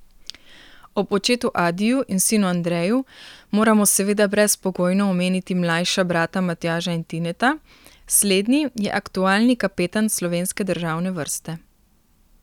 Ob očetu Adiju in sinu Andreju moramo seveda brezpogojno omeniti mlajša brata Matjaža in Tineta, slednji je aktualni kapetan slovenske državne vrste.